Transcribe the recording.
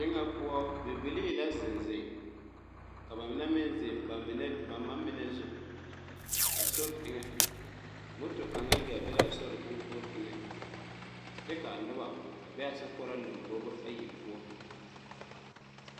Deɛ ŋa poɔ bibilee lɛ zeŋ zeŋ ka ba menne meŋ zeŋ ba menne ba ma menne gbɛɛ zʋ a sori enga moto kaŋa yi gaa be la a sori kʋnkɔriŋ eŋa kye ka nuba bɛ a sokʋoraa lʋmbobo ayi poɔ.